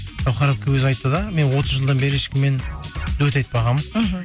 гаухар әпке өзі айтты да мен отыз жылдан бері ешкіммен дуэт айтпағанмын мхм